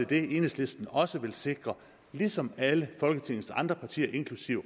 det enhedslisten også vil sikre ligesom alle folketingets andre partier inklusive